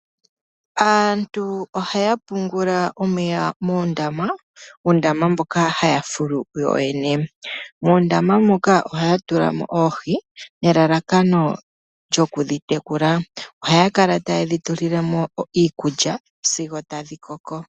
Aantu ohaya pungula omeya moondama . Uundama mboka haya fulu ku yoyene. Muundama muka ohaya tulamo oohi nelalakano lyoku dhi tekula . Ohaya kala tayedhi tulilemo iikulya sigo tadhi koko.